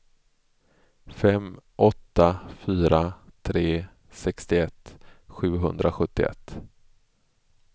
fem åtta fyra tre sextioett sjuhundrasjuttioett